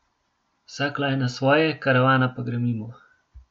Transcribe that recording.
Vsak lajna svoje, karavana pa gre mimo.